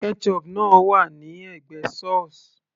ketchup náà wà ní ẹ̀gbẹ́ sauce